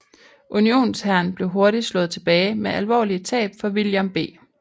Unionshæren blev hurtigt slået tilbage med alvorlige tab for William B